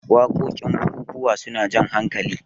wakokin bukukuwa suna Jan hakali